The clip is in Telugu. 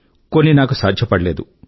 కొన్ని నాకు సాధ్యపడలేదు